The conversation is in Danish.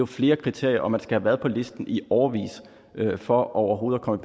flere kriterier og man skal have været på listen i årevis for overhovedet at komme